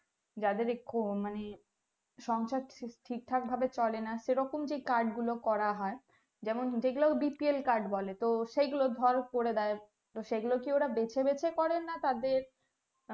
যাদের খো মানে সংসার ঠিক ঠাক ভাবে চলে না সেরকম যে কাজ গুলো করা হয় যেমন যেগুলা bpl card বলে তো সেগুলো ধর করে দেয় তো সেই গুলো কি ওরা বেছে বেছে করে না তাদের